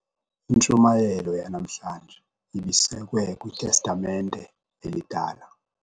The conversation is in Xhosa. Intshumayelo yanamhlanje ibisekwe kwitestamente elidala.